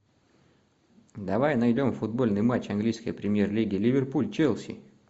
давай найдем футбольный матч английской премьер лиги ливерпуль челси